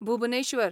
Bhubaneswar